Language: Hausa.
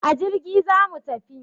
A jirgi zamu tafi